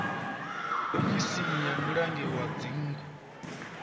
ofisini ya mulangi wa dzingu